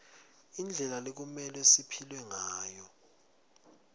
indlela lekumelwe siphile ngayo